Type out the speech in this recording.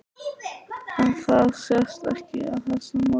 En það sést ekki á þessu móti?